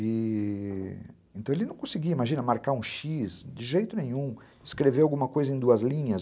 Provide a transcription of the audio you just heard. E... então ele não conseguia, imagina, marcar um xiz, de jeito nenhum, escrever alguma coisa em duas linhas.